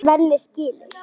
Svenni skilur.